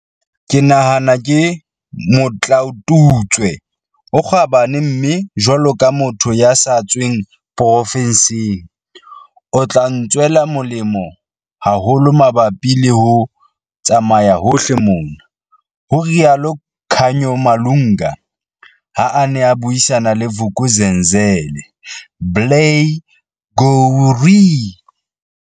"Ke nahana ke motlaotutswe o kgabane mme jwalo ka motho ya sa tsweng porofenseng, o tla ntswela molemo haholo mabapi le ho tsamaya hohle mona," ho rialo Khanyo Malunga, ha a ne a buisana le Vuk'uzenzele, Blair gowrie.